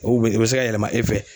o bɛ se ka yɛlɛma e fɛ.